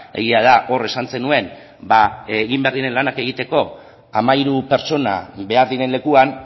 egia da hor esan zenuen egin behar diren lanak egiteko hamairu pertsona behar diren lekuan